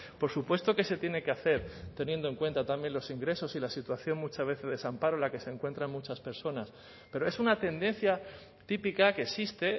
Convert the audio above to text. por supuesto que se tiene que hacer teniendo en cuenta también los ingresos y la situación muchas veces de desamparo en la que se encuentran muchas personas pero es una tendencia típica que existe